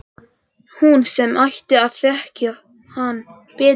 Hún sem ætti að þekkja hann betur en allir aðrir.